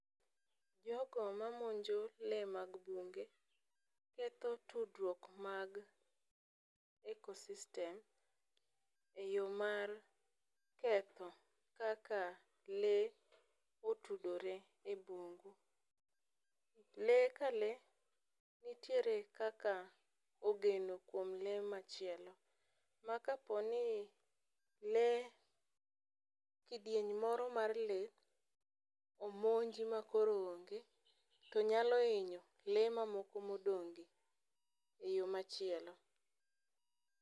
Jogo mamonjo lee mag bunge ketho tudruok mag ecosystem eyoo mar ketho kaka lee otudore e bungu. Lee ka lee nitiere kaka ogeno kuom lee machielo. Makaponi lee kidieny moro mar lee omonj ma koro onge tonyalo inyo lee mamoko ma odong'gi eyoo machielo